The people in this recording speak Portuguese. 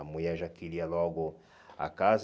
A mulher já queria logo a casa.